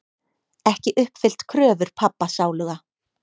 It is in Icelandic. Ekki uppfyllt kröfur pabba sáluga.